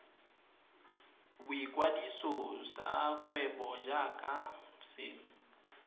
boikwadiso sa kgwebo jaaka se